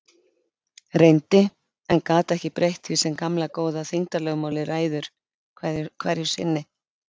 Reyndi- en gat ekki breytt því sem gamla góða þyngdarlögmálið ræður hverju sinni.